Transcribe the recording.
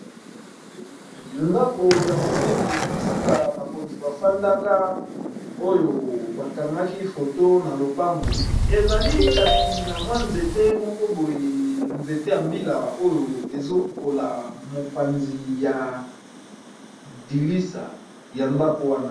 Ndako ya monene bisika bakonzi bafandaka oyo bakangaki foto na lopango ezali kasi na mwa nzete moko boye nzete ya mbila oyo ezokola mopanzi ya dilisa ya ndako wana.